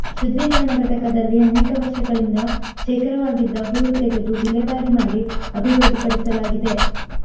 ಶುದ್ಧೀಕರಣ ಘಟಕದಲ್ಲಿ ಅನೇಕ ವರ್ಷಗಳಿಂದ ಶೇಖರವಾಗಿದ್ದ ಹೂಳು ತೆಗೆದು ವಿಲೇವಾರಿ ಮಾಡಿ ಅಭಿವೃದ್ಧಿಪಡಿಸಲಾಗಿದೆ